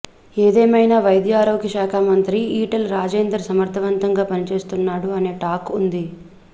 ఏదేమైనా వైద్య ఆరోగ్య శాఖ మంత్రిగా ఈటెల రాజేందర్ సమర్థవంతంగా పనిచేస్తున్నాడు అనే టాక్ ఉంది